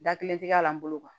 Da kelen ti k'a la n bolo